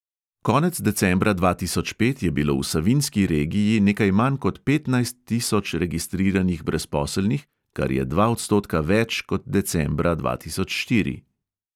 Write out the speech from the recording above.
Konec decembra dva tisoč pet je bilo v savinjski regiji nekaj manj kot petnajst tisoč registriranih brezposelnih, kar je dva odstotka več kot decembra dva tisoč štiri.